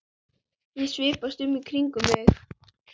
Ég svipast um í kringum mig.